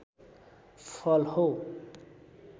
फल हो